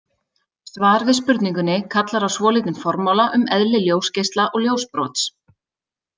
Svar við spurningunni kallar á svolítinn formála um eðli ljósgeisla og ljósbrots.